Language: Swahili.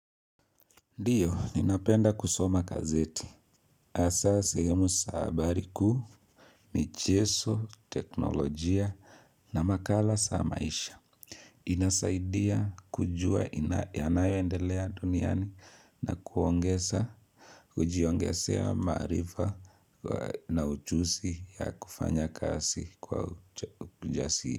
Ndio, ninapenda kusoma gazeti. Hasa sehemu za habari kuu, michezo, teknolojia na makala za maisha. Inasaidia kujua yanayo endelea duniani na kuongeza, ujiongezea maarifa na ujuzi ya kufanya kasi kwa ujasiri.